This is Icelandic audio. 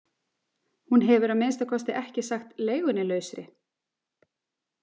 Hún hefur að minnsta kosti ekki sagt leigunni lausri.